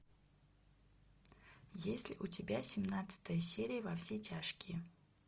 есть ли у тебя семнадцатая серия во все тяжкие